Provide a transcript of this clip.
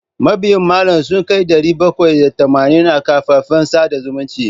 Mabiyna malam sun kai ɗari bakwai da tamanin a kafafen sada zumunta.